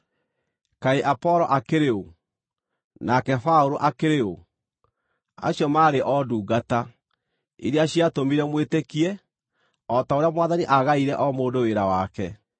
Kaĩ Apolo akĩrĩ ũ? Nake Paũlũ akĩrĩ ũ? Acio maarĩ o ndungata, iria ciatũmire mwĩtĩkie, o ta ũrĩa Mwathani aagaĩire o mũndũ wĩra wake.